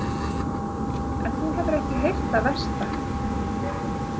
En þú hefur ekki heyrt það versta.